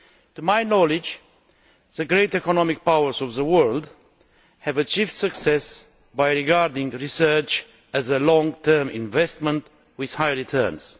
To my knowledge, the great economic powers of the world have achieved success by regarding research as a long term investment with high returns.